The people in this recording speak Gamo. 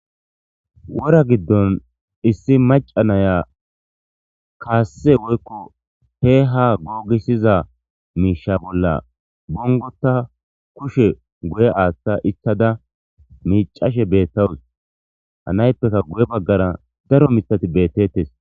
Wora giddon issi maca naya kaasse woykko he ha googisiza miisha bolla bungota kushe guye aaththa ichada miicashe bettawus hanayppeka guye baggara daro mitati bettettes.